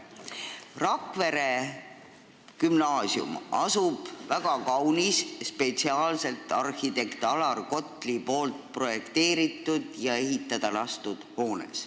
Rakvere Gümnaasium asub väga kaunis, arhitekt Alar Kotli spetsiaalselt projekteeritud ja spetsiaalselt ehitada lastud hoones.